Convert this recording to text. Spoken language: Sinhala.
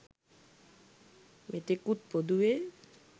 මෙතෙකුත් පොදුවේ